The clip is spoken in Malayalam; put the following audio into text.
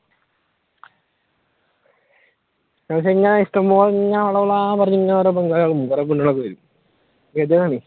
പക്ഷെ ഇഷ്ട്ടപോലെ ഇങ്ങനെ വളവളാ പറഞ്ഞ് ഓരോ പെൺപിള്ളേരും വരും ഇതാണ്